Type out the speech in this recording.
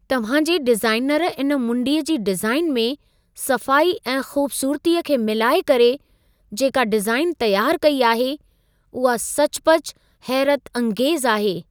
तव्हां जे डिज़ाइनर इन मुंडीअ जी डिज़ाइन में सफ़ाई ऐं ख़ूबसूरतीअ खे मिलाए करे, जेका डिज़ाइन तयारु कई आहे उहा सचुपचु हैरतअंगेज़ आहे।